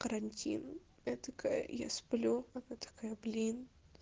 карантин я такая я сплю она такая блин